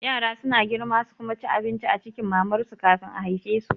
Yara suna girma su kuma ci abinci a cikin mamar su kafin a haifesu